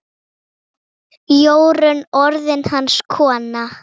Jórunn orðin hans kona.